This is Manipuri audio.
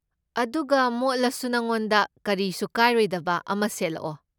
ꯑꯗꯨꯒ, ꯃꯣꯠꯂꯁꯨ ꯅꯉꯣꯟꯗ ꯀꯔꯤꯁꯨ ꯀꯥꯏꯔꯣꯏꯗꯕ ꯑꯃ ꯁꯦꯠꯂꯛꯑꯣ꯫